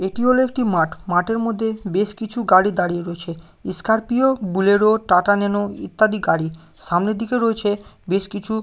এটি হলো একটি মাঠ মাঠের মধ্যে বেশ কিছু গাড়ি দাঁড়িয়ে রয়েছে স্করপিও বোলেরো টাটা ন্যানো ইত্যাদি গাড়ি সামনের দিকে রয়েছে বেশ কিছু --